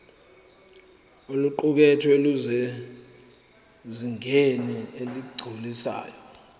oluqukethwe lusezingeni eligculisayo